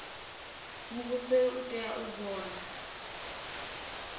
muvhuso u tea u vhona